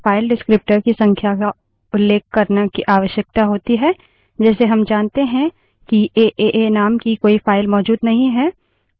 केवल फर्क यह है कि इस मामले में हमें> या>> चिन्ह के पहले स्टैंडर्डएर्रर stderr के file descriptor की संख्या को उल्लेख करने की आवश्यकता होती है